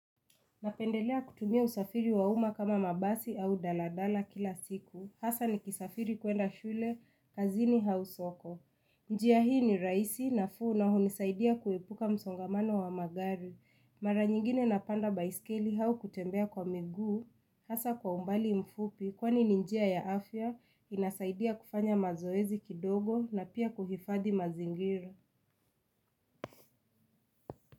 Napendelea kutumia usafiri wa uma kama mabasi au daladala kila siku, hasa ni kisafiri kuenda shule, kazini au soko. Njia hii ni raisi, nafuu na hunisaidia kuepuka msongamano wa magari. Mara nyingine napanda baiskeli au kutembea kwa miguu, hasa kwa umbali mfupi kwani ninjia ya afya inasaidia kufanya mazoezi kidogo na pia kuhifadhi mazingira.